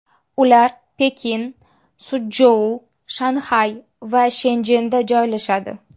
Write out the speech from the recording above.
Ular Pekin, Suchjou, Shanxay va Shenchjenda joylashadi.